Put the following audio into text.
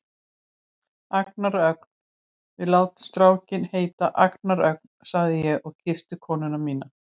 Agnar Ögn, við látum strákinn heita Agnar Ögn, sagði ég og kyssti konuna mína.